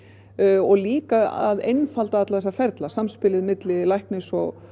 og líka að einfalda alla þessa ferla samspilið milli læknis og